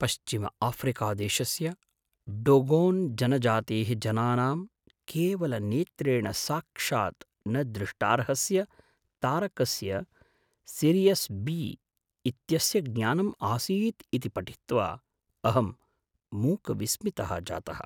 पश्चिमआफ्रिकादेशस्य Dogon जनजातेः जनानां केवलनेत्रेण साक्षात् न दृष्टार्हस्य तारकस्य सिरियस् बी इत्यस्य ज्ञानं आसीत् इति पठित्वा अहं मूकविस्मितः जातः ।